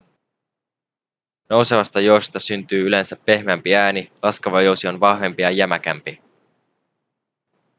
nousevasta jousesta syntyy yleensä pehmeämpi ääni laskeva jousi on vahvempi ja jämäkämpi